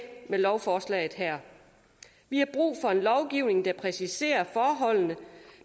lovforslaget her vi har brug for en lovgivning der præciserer forholdene